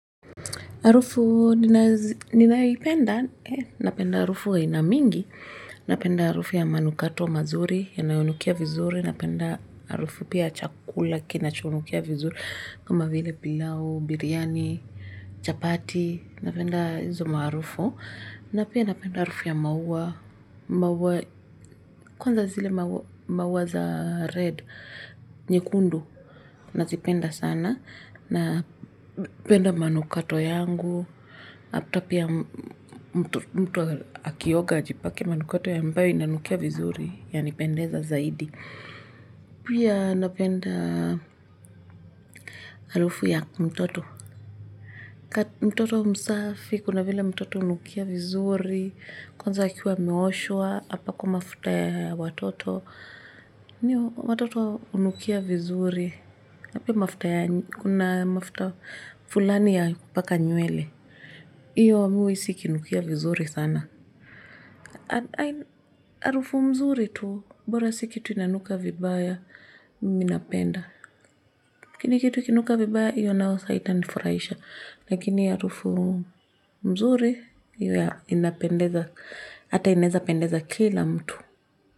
Arufu ninayoipenda, napenda arufu aina mingi, napenda arufu ya manukato mazuri yanayonukia vizuri, napenda arufu pia ya chakula kinachonukia vizuri kama vile pilau, biryani, chapati, napenda hizo maarufu. Na pia napenda arufu ya maua, kwanza zile maua za red, nyekundu, nazipenda sana, na penda manukato yangu, hapita pia mtu akioga ajipake manukato ambayo inanukia vizuri, ya nipendeza zaidi. Pia napenda harufu ya mtoto. Mtoto msafi, kuna vile mtoto unukia vizuri. Kwanza akiwa ameoshwa, apakwe mafuta ya watoto. Niyo, watoto unukia vizuri. Kuna mafuta fulani ya kupaka nywele. Iyo, mi uisi ikinukia vizuri sana. Arufu mzuri tu, bora siki tu inanuka vibaya minapenda. laKini kitu ikinuka vibaya hiyo nayo sa haita nifuraisha. Lakini ya harufu nzuri ya inapendeza, ata inaeza pendeza kila mtu.